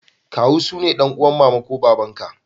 Kawu sune dan'uwan mama ko baba'n ka.